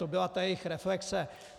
To byla ta jejich reflexe.